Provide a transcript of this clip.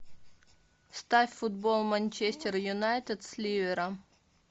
ставь футбол манчестер юнайтед с ливером